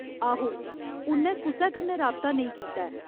आहो, उ'नैं कुसै कन्नै राबता नेईं कीता ऐ।